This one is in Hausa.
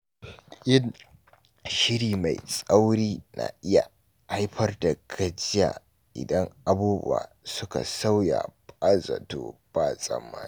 Yin shiri mai tsauri na iya haifar da gajiya idan abubuwa suka sauya ba zato ba tsammani.